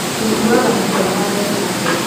Tũtuaga matua ma mbeca hamwe.